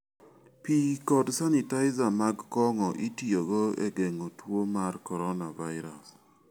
Pi kod sanitizer mag kong'o itiyogo e geng'o tuo mar coronavirus.